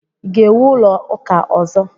ị ga-ewu ụlọ ụka ọzọ?